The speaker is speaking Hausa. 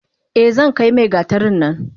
Eh zankai mai gatarin nan.